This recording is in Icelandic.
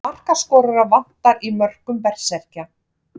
Markaskorara vantar í mörkum Berserkja.